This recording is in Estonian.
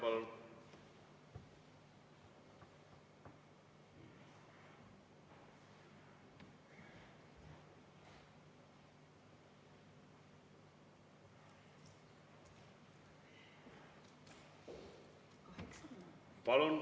Kaheksa minutit.